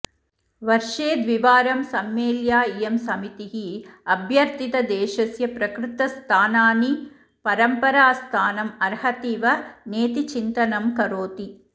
वर्षे द्विवारं सम्मेल्या इयं समितिः अभ्यर्थितदेशस्य प्रकृतस्थानानि परम्परास्थानम् अर्हतिव नेति चिन्तनं करोति